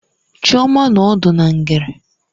Chioma nọ ọdụ na ngere.